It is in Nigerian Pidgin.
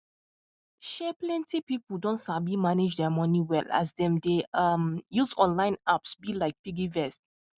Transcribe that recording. um plenty people don sabi manage their money well as dem dey um use online apps um like piggyvest